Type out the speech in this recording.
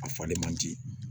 A faden man di